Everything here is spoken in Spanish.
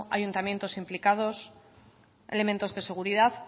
ayuntamientos implicados elementos de seguridad